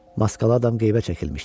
Maskalı adam qeybə çəkilmişdi.